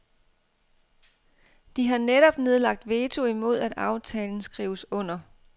De har netop nedlagt veto imod at aftalen skrives under.